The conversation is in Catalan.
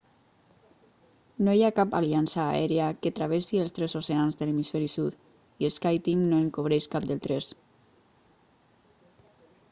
no hi ha cap aliança aèria que travessi els tres oceans de l'hemisferi sud i skyteam no en cobreix cap dels tres